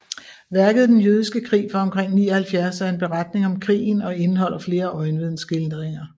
Værket Den jødiske krig fra omkring 79 er en beretning om krigen og indeholder flere øjenvidneskildringer